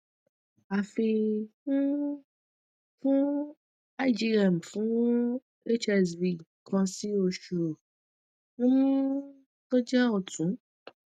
afi um fun igm fun hsv kan si meji um to je otun